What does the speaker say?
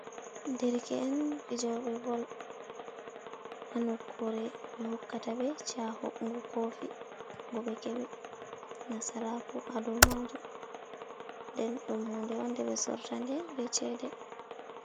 Dereke'en fijoɓee bol, ha nokuure ɓe hokkata ɓe shahu ngu kofi, ko ɓe kebi nasaraku ha dou maajuum, nden ɗum huude on de ɓe sorra tande be cede.